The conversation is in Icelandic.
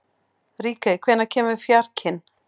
Ríkey, hvenær kemur fjarkinn?